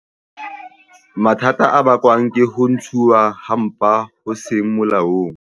Mathata a bakwang ke ho ntshuwa ha mpa ho seng molaong